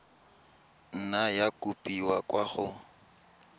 nna ya kopiwa kwa go